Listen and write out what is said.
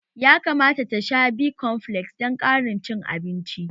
Ya kamata ta sha B-komfles dan ƙarin cin abinci